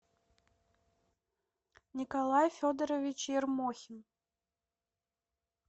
николай федорович ермохин